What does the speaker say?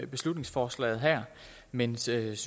beslutningsforslaget her men synes